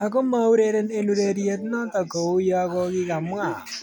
Ako maureren eng ureriet noto kou yakokakimwa.